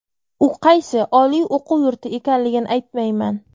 U qaysi oliy o‘quv yurti ekanligini aytmayman.